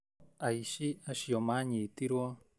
Aici acio manyitirwo